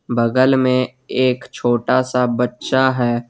बगल में एक छोटा सा बच्चा है।